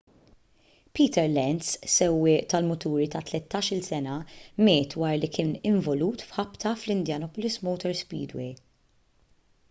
peter lenz sewwieq tal-muturi ta' 13-il sena miet wara li kien involut f'ħabta fl-indianapolis motor speedway